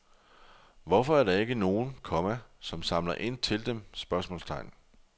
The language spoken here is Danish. Hvorfor er der ikke nogen, komma som samler ind til dem? spørgsmålstegn